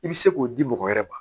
I bɛ se k'o di mɔgɔ wɛrɛ ma